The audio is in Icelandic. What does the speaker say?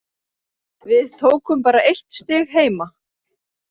Við tókum bara eitt stig heima.